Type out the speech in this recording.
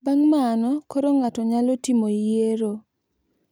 Bang` mano koro ng`ato nyalo timo yiero.